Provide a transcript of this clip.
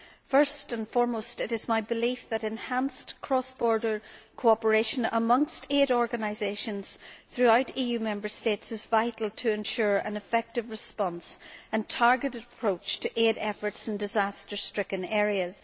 First and foremost, it is my belief that enhanced cross border cooperation amongst aid organisations throughout EU Member States is vital to ensure an effective response and a targeted approach to aid efforts in disaster stricken areas.